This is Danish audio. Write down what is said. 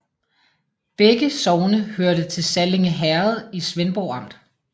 Begge sogne hørte til Sallinge Herred i Svendborg Amt